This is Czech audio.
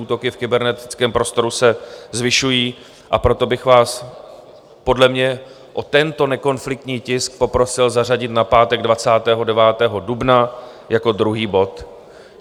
Útoky v kybernetickém prostoru se zvyšují, a proto bych vás podle mě o tento nekonfliktní tisk poprosil zařadit na pátek 29. dubna jako druhý bod.